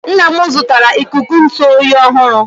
nna m zụtara ikuku ntụ oyi ọhụrụ